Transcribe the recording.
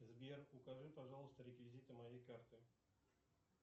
сбер укажи пожалуйста реквизиты моей карты